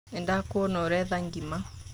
Nĩndakuona ũretha ngima.